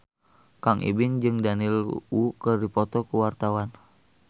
Kang Ibing jeung Daniel Wu keur dipoto ku wartawan